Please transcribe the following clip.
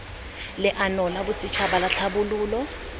leano la bosetšhaba la tlhabololo